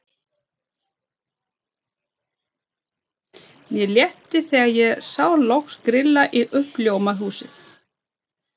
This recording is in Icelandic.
Mér létti þegar ég sá loks grilla í uppljómað húsið.